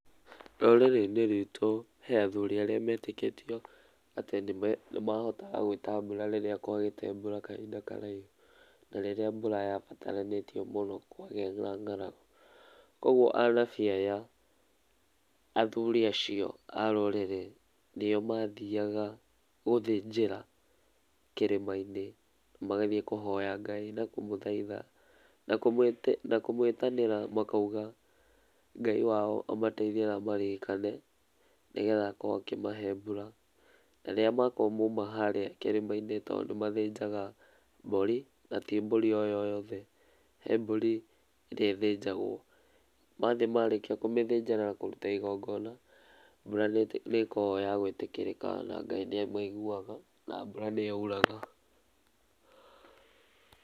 Rũrĩrĩ-inĩ rwitũ he athũri arĩa metĩkĩtio atĩ nĩ mahotaga gwĩta mbũra rĩrĩa kwagĩte mbũra kahĩnda karaihũ, na rĩrĩa mbũra ya bataranĩtio mũno kwagĩa na ng'aragũ, kogũo anabi aya athũri acio a rũrĩrĩ, nĩo mathiaga gũthĩnjĩra kĩrĩma-inĩ magathiĩ kũhoya Ngai na kũmũthaitha na kũmwĩtanĩra makaũga Ngaĩ wao amateithie na amaririkane, nĩgetha akorwo akĩ mahe mbũra na rĩrĩa makoragwo maũma harĩa kĩrĩma-inĩ, tondũ nĩ mathĩnja mbũri, na ti mbũri o yothe, he mbũri ĩrĩa ĩthĩnjagwo, mathiĩ marĩkĩa kũmĩthĩnja na kũmĩrũta igongona, mbũra nĩĩkoragwo ĩ ya gwĩtĩkĩrĩka, na Ngai nĩamaiguaga, na mbũra nĩyaũraga.